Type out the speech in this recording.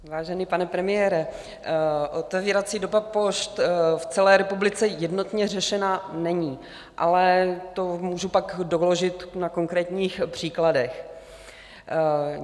Vážený pane premiére, otevírací doba pošt v celé republice jednotně řešená není, ale to můžu pak doložit na konkrétních příkladech.